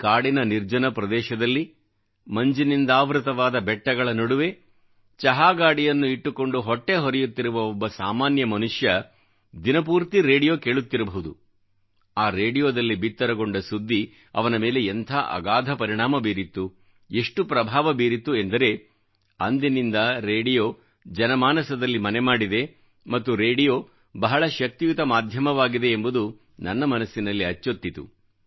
ಕಾಡಿನ ನಿರ್ಜನ ಪ್ರದೇಶದಲ್ಲಿ ಮಂಜಿನಿಂದಾವೃತವಾದ ಬೆಟ್ಟಗಳ ನಡುವೆ ಚಹಾ ಗಾಡಿಯನ್ನು ಇಟ್ಟುಕೊಂಡು ಹೊಟ್ಟೆ ಹೊರೆಯುತ್ತಿರುವ ಒಬ್ಬ ಸಾಮಾನ್ಯ ಮನುಷ್ಯ ದಿನಪೂರ್ತಿ ರೇಡಿಯೋ ಕೇಳುತ್ತಿರಬಹುದು ಆ ರೇಡಿಯೋದಲ್ಲಿ ಬಿತ್ತರಗೊಂಡ ಸುದ್ದಿ ಅವನ ಮೇಲೆ ಎಂಥ ಅಗಾಧ ಪರಿಣಾಮ ಬೀರಿತ್ತು ಎಷ್ಟು ಪ್ರಭಾವ ಬೀರಿತ್ತು ಎಂದರೆ ಅಂದಿನಿಂದ ರೇಡಿಯೋ ಜನಮಾನಸದಲ್ಲಿ ಮನೆಮಾಡಿದೆ ಮತ್ತು ರೇಡಿಯೋ ಬಹಳ ಶಕ್ತಿಯುತ ಮಾಧ್ಯಮವಾಗಿದೆ ಎಂಬುದು ನನ್ನ ಮನಸ್ಸಿನಲ್ಲಿ ಅಚ್ಚೊತ್ತಿತು